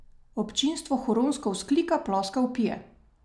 Občinstvo huronsko vzklika, ploska, vpije.